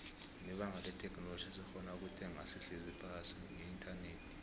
nbebanga letheknoloji sesikgona ukuthenga sihlezi phasi ngeinternet